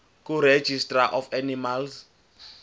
kuregistrar of animals